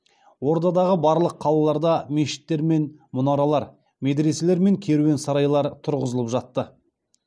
ордадағы барлық қалаларда мешіттер мен мұнаралар медреселер мен керуен сарайлар тұрғызылып жатты